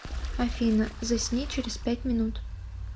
афина засни через пять минут